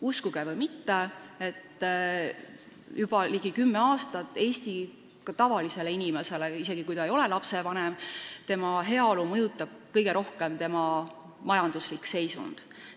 Uskuge või mitte, juba ligi kümme aastat mõjutab tavalise Eesti inimese – isegi kui ta ei ole lapsevanem – heaolu kõige rohkem tema majanduslik seisund.